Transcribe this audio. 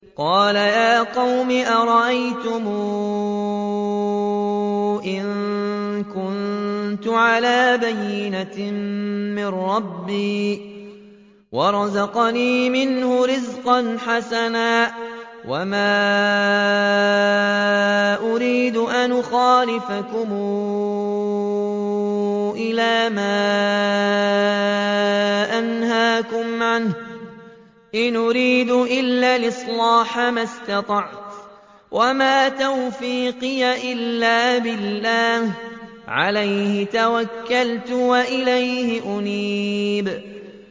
قَالَ يَا قَوْمِ أَرَأَيْتُمْ إِن كُنتُ عَلَىٰ بَيِّنَةٍ مِّن رَّبِّي وَرَزَقَنِي مِنْهُ رِزْقًا حَسَنًا ۚ وَمَا أُرِيدُ أَنْ أُخَالِفَكُمْ إِلَىٰ مَا أَنْهَاكُمْ عَنْهُ ۚ إِنْ أُرِيدُ إِلَّا الْإِصْلَاحَ مَا اسْتَطَعْتُ ۚ وَمَا تَوْفِيقِي إِلَّا بِاللَّهِ ۚ عَلَيْهِ تَوَكَّلْتُ وَإِلَيْهِ أُنِيبُ